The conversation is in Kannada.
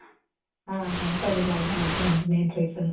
ಹ ಅಂಟೂದಿಲ್ಲ ಅಲ್ಲ ಅದು ಒಂದು main reason .